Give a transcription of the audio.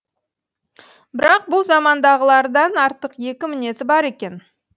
бірақ бұл замандағылардан артық екі мінезі бар екен